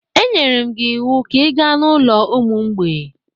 E nyere m gị iwu ka ị gaa n'ụlọ ụmụ mgbei!